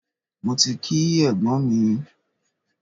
Mo ti kí ẹ̀gbọ́n mi.